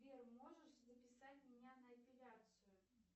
сбер можешь записать меня на эпиляцию